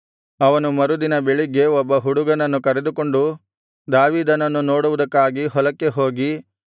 ಅವನು ಮರುದಿನ ಬೆಳಿಗ್ಗೆ ಒಬ್ಬ ಹುಡುಗನನ್ನು ಕರೆದುಕೊಂಡು ದಾವೀದನನ್ನು ನೋಡುವುದಕ್ಕಾಗಿ ಹೊಲಕ್ಕೆ ಹೋಗಿ